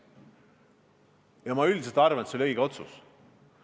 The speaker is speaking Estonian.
Ja ma üldiselt arvan, et see oli õige otsus.